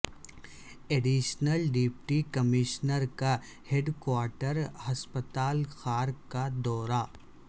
additional deputy commissioner کا headquarter ہسپتال خار کا دورہ